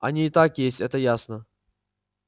они и так есть это ясно